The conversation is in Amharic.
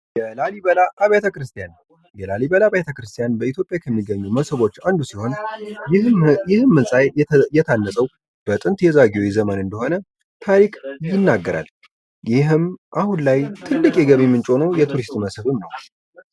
በላሊበላ አበያተ ክርስቲያን በላሊበላ ቤተክርስትያን በኢትዮጵያ ከሚገኙ ሞስቦች እንዱ ሲሆን ይህም ህንጻ የታነጸው በጥንት የዛጌዌ መንግስት እንደሆነ ታሪክ ይናገራል። ይህም አሁን ላይ ትልቅ የገቢ ምንጭ በመሆን የቱሪስት መስብ በመሆን ያገለግላል።